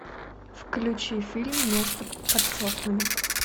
включи фильм место под соснами